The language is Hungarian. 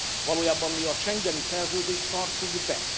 Valójában mi a Schengeni Szerződést tartjuk be.